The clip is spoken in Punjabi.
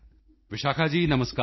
ਵਿਸ਼ਾਖਾ ਜੀ ਨਮਸਕਾਰ